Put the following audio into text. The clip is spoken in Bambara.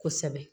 Kosɛbɛ